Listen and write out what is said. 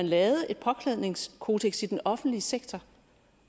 lavet et påklædningskodeks i den offentlige sektor